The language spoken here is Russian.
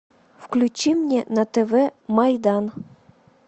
включи мне на тв майдан